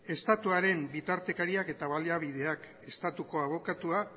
estatuaren bitartekariak eta baliabideak estatuko abokatua